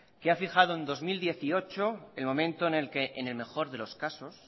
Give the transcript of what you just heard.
que ha fijado en dos mil dieciocho el momento en el que en el mejor de los casos